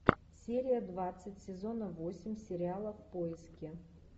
серия двадцать сезона восемь сериала в поиске